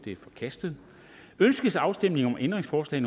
er forkastet ønskes afstemning om ændringsforslag